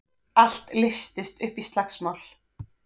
Allt leystist upp í slagsmál.